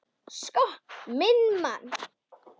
Sko minn mann!